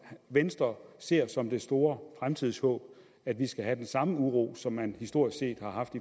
venstre ser som det store fremtidshåb at vi skal have den samme uro som man historisk set har haft